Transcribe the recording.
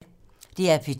DR P2